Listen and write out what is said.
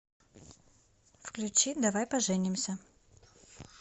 включи давай поженимся